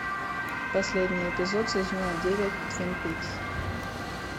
последний эпизод сезона девять твин пикс